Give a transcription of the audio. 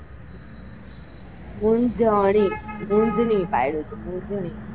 મૂંજની પાડ્યું હતું.